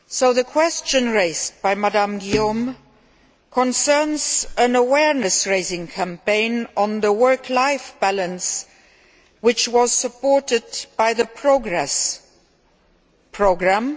The question raised by Ms Guillaume concerns an awareness raising campaign on the work life balance, which was supported by the Progress programme.